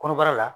Kɔnɔbara la